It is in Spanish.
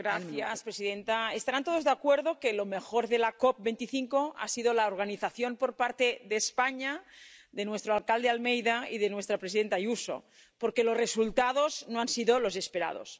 Señora presidenta, estarán todos de acuerdo en que lo mejor de la COP 25 ha sido la organización por parte de España, de nuestro alcalde Almeida y de nuestra presidenta Ayuso, porque los resultados no han sido los esperados.